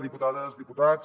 diputades diputats